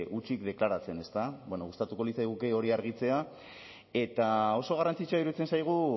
hutsik deklaratzen ezta bueno gustatuko litzaiguke hori argitzea eta oso garrantzitsua iruditzen zaigu